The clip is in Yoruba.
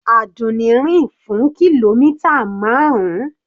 Àdùnní rìn fún kìlómítà marun.